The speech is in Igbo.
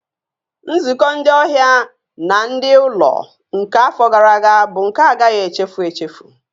Nzukọ ndị ọhịa na ndị ụlọ nke afọ gara aga bụ nke a agaghị echefu echefu